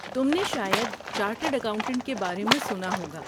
تم نے شاید چارٹرڈ اکاؤنٹنٹ کے بارے میں سنا ہوگا؟